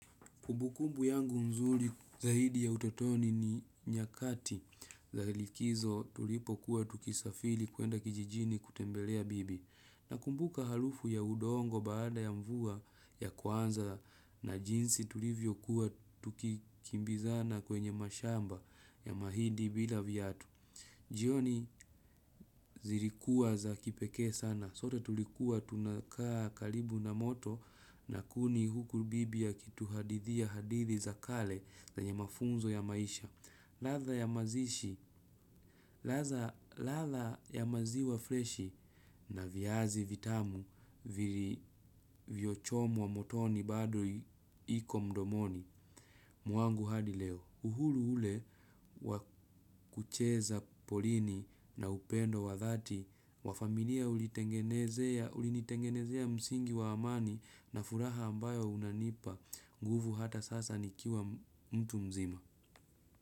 Kumbukumbu yangu nzuri zaidi ya utotoni ni nyakati za likizo tulipokuwa tukisafiri kuenda kijijini kutembelea bibi. Nakumbuka harufu ya udongo baada ya mvua ya kwanza na jinsi tulivyokuwa tukikimbizana kwenye mashamba ya mahindi bila viatu. Jioni zilikuwa za kipekee sana. Sote tulikuwa tunakaa karibu na moto na kuni huku bibi akituhadithia hadithi za kale zenye mafunzo ya maisha. Ladha ya mazishi. Ladha ya maziwa freshi na viazi vitamu vilivyochomwa motoni bado iko mdomoni. Mwangu hadi leo, uhuru ule wa kucheza porini na upendo wa dhati, wa familia ulinitengenezea msingi wa amani na furaha ambayo unanipa, nguvu hata sasa nikiwa mtu mzima.